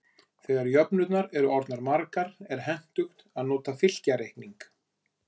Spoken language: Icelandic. Þegar jöfnurnar eru orðnar margar er hentugt að nota fylkjareikning.